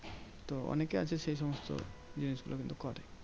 তো অনেকে আছে সেই সমস্ত জিনিসগুলো কিন্তু করে।